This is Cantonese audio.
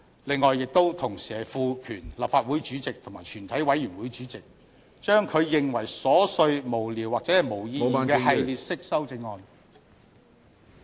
此外，同時賦權立法會主席及全體委員會主席將他認為瑣屑無聊或沒有意義的系列式修正案......